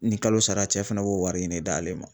Ni kalo sara cɛ fɛnɛ b'o wari in ne d'ale ma